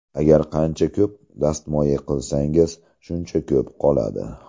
Agar qancha ko‘p dastmoya qilsangiz, shuncha ko‘p qoladi.